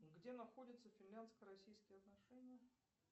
где находятся финляндско российские отношения